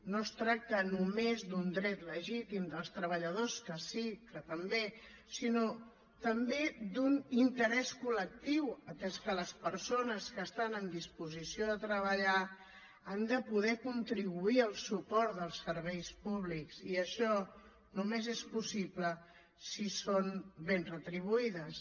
no es tracta només d’un dret legítim dels treballadores que sí que també sinó també d’un interès col·lectiu atès que les persones que estan en disposició de treballar han de poder contribuir al suport dels serveis públics i això només és possible si són ben retribuïdes